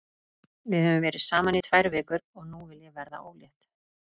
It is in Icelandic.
Við höfum verið saman í tvær vikur og nú vil ég verða ólétt.